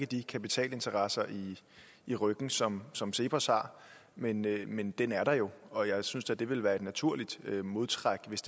de kapitalinteresser i ryggen som som cepos har men men den er der jo og jeg synes da det ville være et naturligt modtræk hvis